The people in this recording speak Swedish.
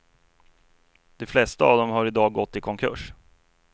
De flesta av dem har i dag gått i konkurs.